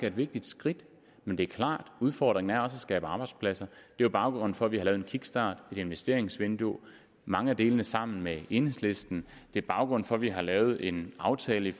et vigtigt skridt men det er klart at udfordringen er at skabe arbejdspladser det er baggrunden for at vi har lavet en kickstart et investeringsvindue mange af delene sammen med enhedslisten det er baggrunden for at vi har lavet en aftale